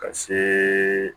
Ka see